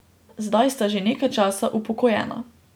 Zdaj sta že nekaj časa upokojena.